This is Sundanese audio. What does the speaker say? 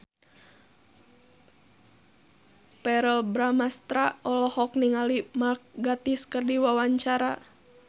Verrell Bramastra olohok ningali Mark Gatiss keur diwawancara